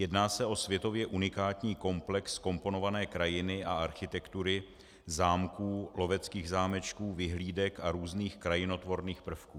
Jedná se o světově unikátní komplex komponované krajiny a architektury, zámků, loveckých zámečků, vyhlídek a různých krajinotvorných prvků.